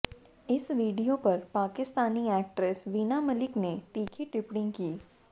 इस वीडियो पर पाकिस्तानी एक्ट्रेस वीना मलिक ने तीखी टिप्पणी की